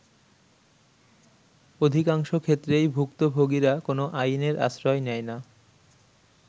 অধিকংশ ক্ষেত্রেই ভুক্তভোগিরা কোন আইনের আশ্রয় নেয় না।।